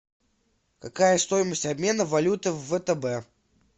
какая стоимость обмена валюты в втб